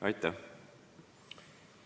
Aitäh!